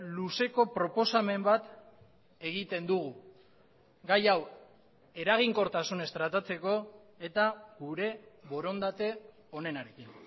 luzeko proposamen bat egiten dugu gai hau eraginkortasunez tratatzeko eta gure borondate onenarekin